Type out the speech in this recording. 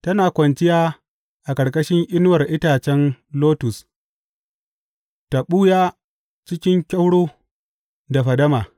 Tana kwanciya a ƙarƙashin inuwar itacen lotus ta ɓuya cikin kyauro da fadama.